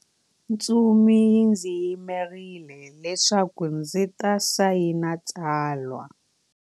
Ntsumi yi ndzi yimerile leswaku ndzi ta sayina tsalwa.